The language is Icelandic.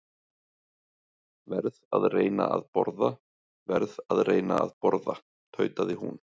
Verð að reyna að borða, verð að reyna að borða tautaði hún.